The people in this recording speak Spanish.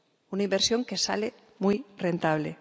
Una inversión que sale muy rentable.